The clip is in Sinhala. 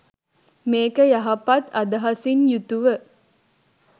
මේක යහපත් අදහසින් යුතුව